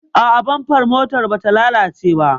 A'a, bamfar motar bata lalace ba.